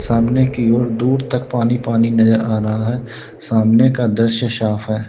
सामने की ओर दूर तक पानी पानी नजर आ रहा है सामने का दृश्य साफ है।